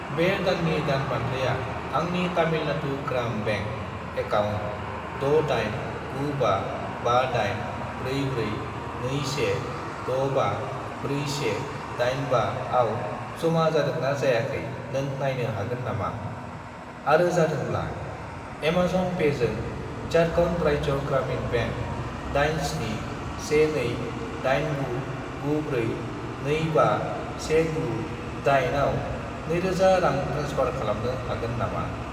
बे दाननि दान बान्थाया आंनि तामिलनाडु ग्राम बेंक एकाउन्ट 6895584421654185 आव जमा जादोंना जायाखै नों नायनो हागोन नामा, आरो जादोंब्ला, एमाजन पेजों झारखन्ड राज्य ग्रामिन बेंक 8712899425198 आव 2000 रां ट्रेन्सफार खालामनो हागोन नामा?